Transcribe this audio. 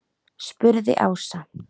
spurði Ása.